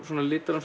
litar hún